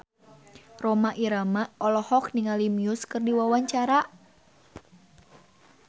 Rhoma Irama olohok ningali Muse keur diwawancara